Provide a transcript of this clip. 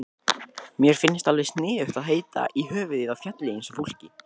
Mér finnst alveg eins sniðugt að heita í höfuðið á fjalli eins og fólki.